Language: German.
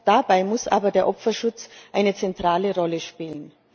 Dabei muss aber der Opferschutz eine zentrale Rolle spielen.